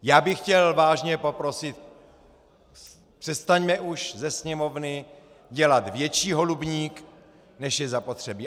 Já bych chtěl vážně poprosit: přestaňme už ze Sněmovny dělat větší holubník, než je zapotřebí.